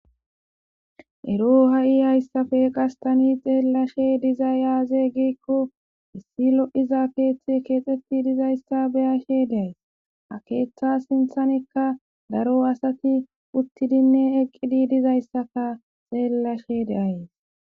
ero ha7i hayssafe qastani xeellashe diza yaaze geekko issi lo7iza keeththe keexxetti dizayssa beyashe deays akeeththa sinthanikka daro asati uttidinne eqqidi dizayssaka xeellashe deays